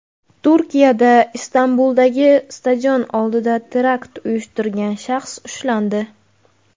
Turkiyada Istanbuldagi stadion oldida terakt uyushtirgan shaxs ushlandi.